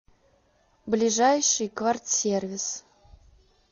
ближайший квартсервис